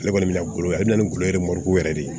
Ale kɔni bɛna golo ale na golo yɛrɛ mɔriku yɛrɛ de